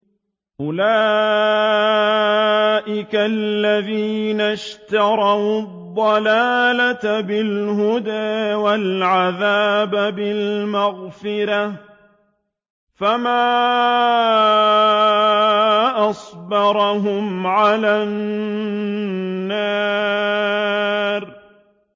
أُولَٰئِكَ الَّذِينَ اشْتَرَوُا الضَّلَالَةَ بِالْهُدَىٰ وَالْعَذَابَ بِالْمَغْفِرَةِ ۚ فَمَا أَصْبَرَهُمْ عَلَى النَّارِ